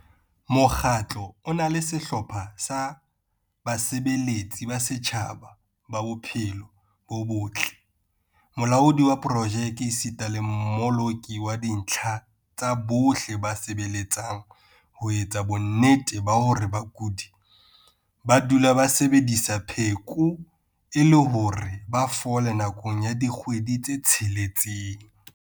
Mokgatlo o na le sehlopha sa basebeletsi ba setjhaba ba bophelo bo botle, molaodi wa projeke esita le mmoloki wa dintlha tsa bohle ba sebeletsang ho etsa bonnete ba hore bakudi ba dula ba sebedisa pheko e le hore ba fole nakong ya dikgwedi tse tsheletseng.